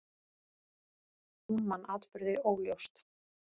Hún man atburði óljóst.